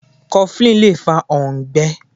Coflin Lè fa òǹgbé.